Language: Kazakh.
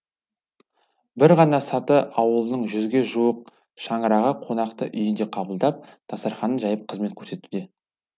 бір ғана саты ауылының жүзге жуық шаңырағы қонақты үйінде қабылдап дастарханын жайып қызмет көрсетуде